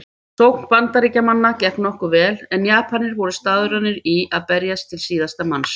Sókn Bandaríkjamanna gekk nokkuð vel en Japanir voru staðráðnir í að berjast til síðasta manns.